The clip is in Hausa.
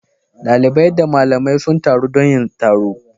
Dalibai da malamai sun taru don yin taro.